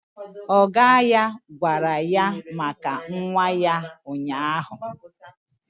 Ọga ya gwara ya maka nwa ya ụnyaahụ